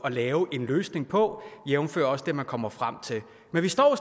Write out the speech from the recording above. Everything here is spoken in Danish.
at lave en løsning på jævnfør også det man kommer frem til men vi står